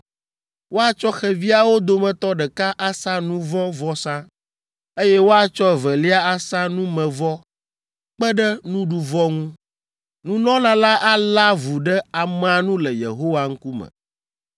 Woatsɔ xeviawo dometɔ ɖeka asa nu vɔ̃ vɔsa, eye woatsɔ evelia asa numevɔ kpe ɖe nuɖuvɔ ŋu. Nunɔla la alé avu ɖe amea nu le Yehowa ŋkume.”